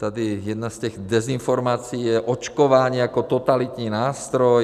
Tady jedna z těch dezinformací je - očkování jako totalitní nástroj.